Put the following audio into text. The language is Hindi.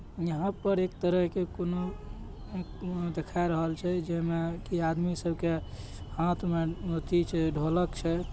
यहां पर एक तरह के दिखा रहल छे आदमी सबके हाथ में ऐथि छे ढोलक छे।